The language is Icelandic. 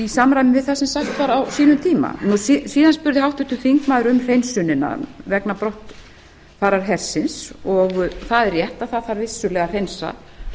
í samræmi við það stefnt var að á sínum tíma síðan spurði háttvirtur þingmaður um hreinsunina vegna brottfarar hersins það er rétt það þarf virkilega að hreinsa